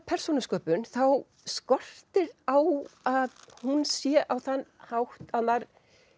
persónusköpun þá skortir á að hún sé á þann hátt að maður